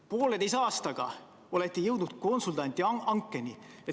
Pooleteise aastaga olete jõudnud konsultandi hankeni!